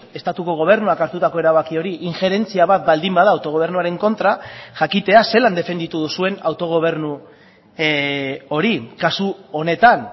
estatuko gobernuak hartutako erabaki hori injerentzia bat baldin bada autogobernuaren kontra jakitea zelan defenditu duzuen autogobernu hori kasu honetan